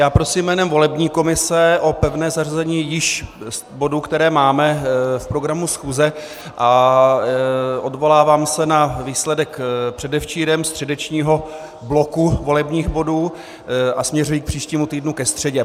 Já prosím jménem volební komise o pevné zařazení již bodů, které máme v programu schůze, a odvolávám se na výsledek předevčírem středečního bloku volebních bodů a směřuji k příštímu týdnu ke středě.